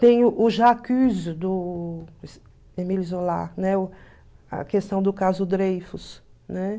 Tem o Jacuzzi do Emílio Zola, né, o a questão do caso Dreyfus, né?